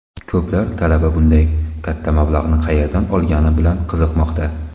Ko‘plar talaba bunday katta mablag‘ni qayerdan olgani bilan qiziqmoqda.